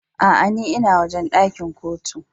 Aa, n'na wojen dakin Kotun.